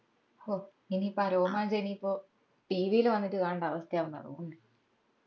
ഹും ഇനീപ്പോ ആ രോമാഞ്ചം ഇനീപ്പോ TV ഇൽ വന്നിട്ട് കാണണ്ട അവസ്ഥ ആവുമെന്ന തോന്നുന്നേ